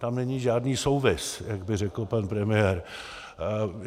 Tam není žádný souvis, jak by řekl pan premiér.